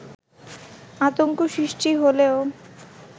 আতংক সৃষ্টি হলেও